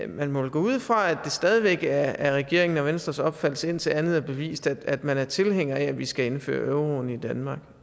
man må vel gå ud fra at det stadig væk er regeringen og venstres opfattelse indtil andet er bevist at man er tilhænger af at vi skal indføre euroen i danmark